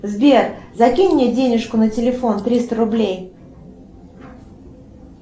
сбер закинь мне денежку на телефон триста рублей